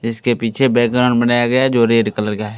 इसके पीछे बैकग्राउंड बनाया गया जो रेड कलर का है।